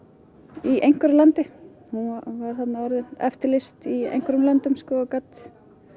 í einhverju landi hún var þarna orðin eftirlýst í einhverjum löndum og gat